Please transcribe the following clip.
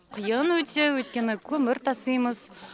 қиын өте өйткені көмір тасимыз